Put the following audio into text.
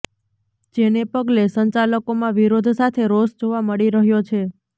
જેને પગલે સંચાલકોમાં વિરોધ સાથે રોષ જોવા મળી રહ્યો છે